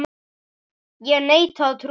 Ég neita að trúa þessu.